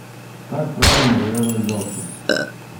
как правильно завязывать галстук